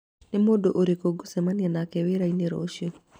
nĩ mũndũ ũrĩkũ ngũcemania nake wĩra-inĩ rũciũ